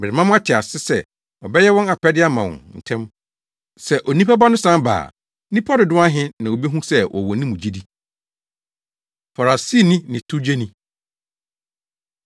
Merema moate ase sɛ ɔbɛyɛ wɔn apɛde ama wɔn ntɛm. Sɛ Onipa Ba no san ba a, nnipa dodow ahe na obehu sɛ wɔwɔ ne mu gyidi?” Farisini Ne Towgyeni